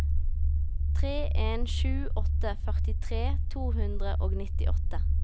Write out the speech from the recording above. tre en sju åtte førtitre to hundre og nittiåtte